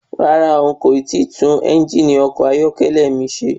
Rárá,n kò tíì tún ẹ́ngìnì ọkọ̀ ayọ́kẹ́lẹ́ mi ṣe.